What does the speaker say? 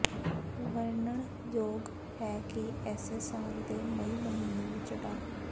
ਵਰਨਣਯੋਗ ਹੈ ਕਿ ਇਸੇ ਸਾਲ ਦੇ ਮਈ ਮਹੀਨੇ ਵਿੱਚ ਡਾ